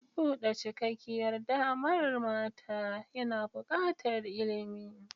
Buɗe cikakkiyar damar mata yana buƙatar ilimi.